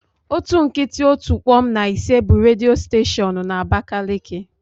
Otu nkịtị otu kpom na ise bụ redio steshoonu na abakaliki.